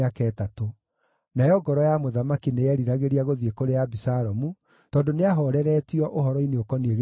Nayo ngoro ya mũthamaki nĩyeriragĩria gũthiĩ kũrĩ Abisalomu, tondũ nĩahooreretio ũhoro-inĩ ũkoniĩ gĩkuũ kĩa Amunoni.